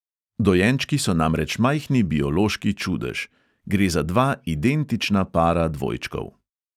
Dojenčki so namreč majhni biološki čudež: gre za dva identična para dvojčkov.